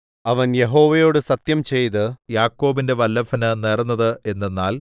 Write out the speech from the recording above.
അവൻ യഹോവയോടു സത്യംചെയ്ത് യാക്കോബിന്റെ വല്ലഭന് നേർന്നത് എന്തെന്നാൽ